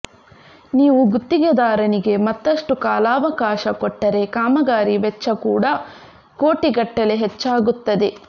ನೀವು ಗುತ್ತಿಗೆದಾರನಿಗೆ ಮತ್ತಷ್ಟು ಕಾಲಾವಕಾಶ ಕೊಟ್ಟರೆ ಕಾಮಗಾರಿ ವೆಚ್ಚ ಕೂಡ ಕೋಟಿಗಟ್ಟಲೆ ಹೆಚ್ಚಾಗುತ್ತದೆ